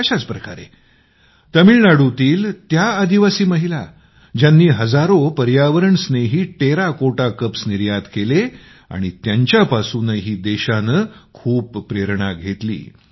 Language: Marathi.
अशाच प्रकारे तामिळनाडूतील त्या आदिवासी महिला ज्यांनी मातीचे हजारो पर्यावरणस्नेही कप निर्यात केले आणि त्यांच्यापासूनही देशानं खूप प्रेरणा घेतली